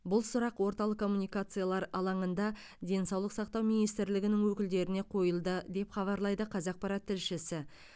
бұл сұрақ орталық коммуникациялар алаңында денсаулық сақтау министрлігінің өкілдеріне қойылды деп хабарлайды қазақпарат тілшісі